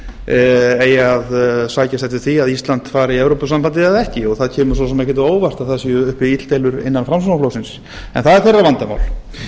hvort flokkurinn eigi að sækjast eftir því að ísland fari í evrópusambandið eða ekki það kemur svo sem ekkert á óvart að það séu uppi illdeilur innan framsóknarflokksins en það er þeirra vandamál